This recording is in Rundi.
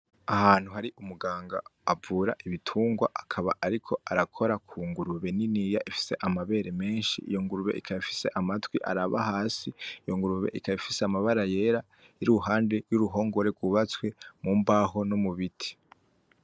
Ahantu har'umuganga avura ibitungwa akaba ariko arakora kungurube niniya ifise amabere menshi iyo ngurube ikaba ifise amatwi araba hasi ,iyo ngurube ikaba ifise amabara yera iri iruhande y'uruhongore rw'ubatswe mumbaho no mubiti.